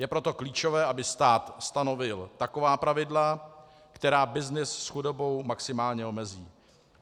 Je proto klíčové, aby stát stanovil taková pravidla, která byznys s chudobou maximálně omezí.